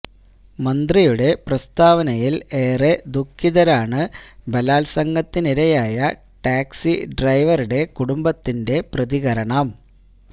മന്ത്രിയുടെ പ്രസ്താവനയിൽ ഏറെ ദുഖിതരാണെന്ന് ബലാത്സംഗത്തിനിരയായ ടാക്സി ഡ്രൈവറുടെ കുടുംബത്തിന്റെ പ്രതികരണം